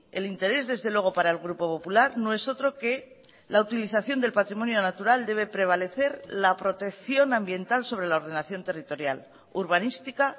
el interés desde luego para el grupo popular no es otro que la utilización del patrimonio natural debe prevalecer la protección ambiental sobre la ordenación territorial urbanística